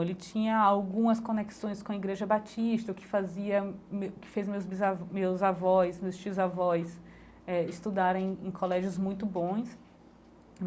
Ele tinha algumas conexões com a igreja Batista, o que fazia me o que fez meus bisa meus avós, meus tios avós eh estudarem em colégios muito bons.